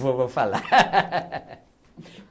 Vou, vou falar.